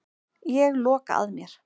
Ég loka að mér.